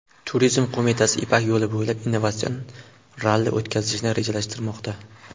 Turizm qo‘mitasi Ipak yo‘li bo‘ylab innovatsion ralli o‘tkazishni rejalashtirmoqda.